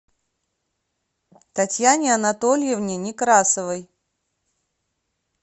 татьяне анатольевне некрасовой